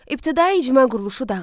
İbtidai icma quruluşu dağıldı.